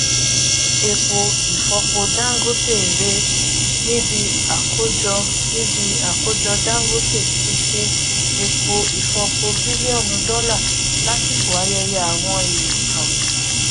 epo ifọpo dangote ré níbí àkójọ níbí àkójọ dangote ti ṣe epo ifọpo bílíọnù dọlà lásìkò àyẹyẹ àwọn ẹẹkan